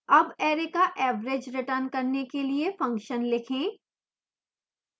अब array का average return करने के लिए function लिखें